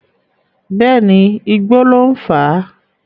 Bẹ́ẹ̀ni, igbó ló ń fà.